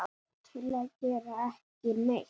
til að gera ekki neitt